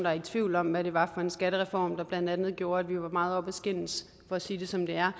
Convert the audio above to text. er i tvivl om hvad det var for en skattereform der gjorde at vi var meget oppe at skændes for at sige det som det er